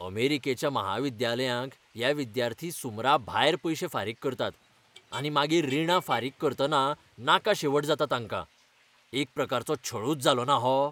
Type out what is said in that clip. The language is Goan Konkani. अमेरिकेच्या महाविद्यालयांक हे विद्यार्थी सुमराभायर पयशे फारीक करतात. आनी मागीर रिणां फारीक करतना नाका शेवट जाता तांकां. एक प्रकारचो छळूच जालोना हो?